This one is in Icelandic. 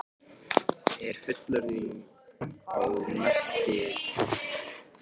Er fullyrðingin þá merkingarlaus?